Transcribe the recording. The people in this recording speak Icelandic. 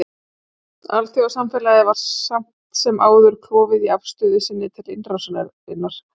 Alþjóðasamfélagið var samt sem áður klofið í afstöðu sinni til innrásarinnar.